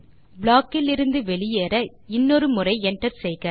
block இலிருந்து வெளியேற இன்னொரு முறை enter செய்க